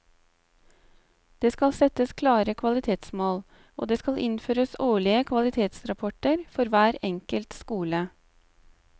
Det skal settes klare kvalitetsmål, og det skal innføres årlige kvalitetsrapporter for hver enkelt skole.